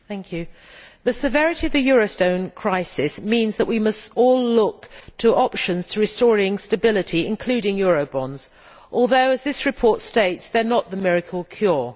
Mr President, the severity of the eurozone crisis means that we must all look to options to restoring stability, including eurobonds although, as this report states, they are not the miracle cure.